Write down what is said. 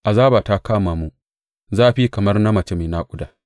Azaba ta kama mu, zafi kamar na mace mai naƙuda.